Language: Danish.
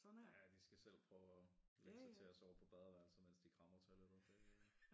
Ja de skal selv prøve at lægge sig til at sove på badeværelset mens de krammer toilettet